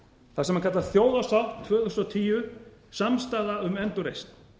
það sem kallast þjóðarsátt tvö þúsund og tíu samstaða um endurreisn